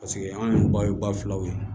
Paseke anw yɛrɛ ba ye ba filaw ye